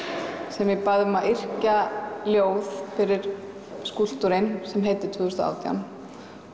sem ég bað um að yrkja ljóð fyrir skúlptúrinn sem heitir tvö þúsund og átján